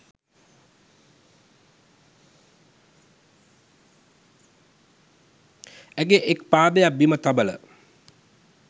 ඇගේ එක් පාදයක් බිම තබල